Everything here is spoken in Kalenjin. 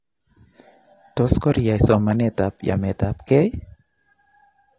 tos koriyaai somaneetab yameetabkey?